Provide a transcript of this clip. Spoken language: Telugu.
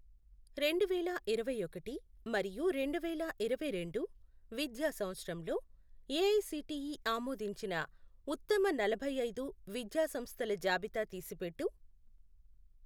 రెండువేల ఇరవైఒకటి మరియు రెండువేల ఇరవైరెండు విద్య సంవత్సరంలో ఏఐసిటిఈ ఆమోదించిన ఉత్తమ నలభైఐదు విద్యా సంస్థల జాబితా తీసిపెట్టు.